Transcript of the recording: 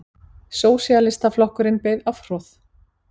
Sósíalistaflokkurinn beið afhroð